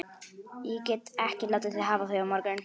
Ég get ekki látið þig hafa þau á morgun